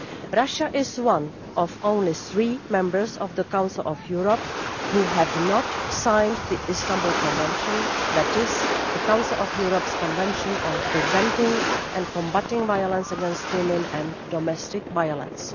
Russia is one of only three members of the Council of Europe that have not signed the Istanbul Convention, that is, the Council of Europe's Convention on preventing and combating violence against women and domestic violence.